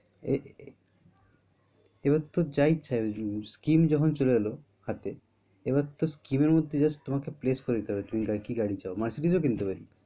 এ এবার তোর যা ইচ্ছা যাবে scheme যখন চলে এলো হাতে এবার তোর scheme মধ্যে justplace করে দিতে হবে তুমি কি গাড়ি চাও মার্সিডিজ কিনতে পারি।